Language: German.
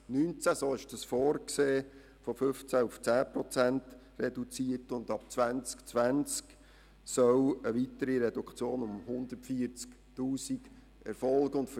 Vorgesehen ist für das Jahr 2019 eine Reduktion von 15 auf 10 Prozent, und ab 2020 soll eine weitere Reduktion in der Höhe von 140 000 Franken erfolgen.